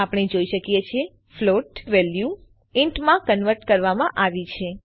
આપણે જોઈ શકીએ છીએ ફ્લોટ વેલ્યુ ઇન્ટ માં કન્વર્ટ કરવામાં આવી છે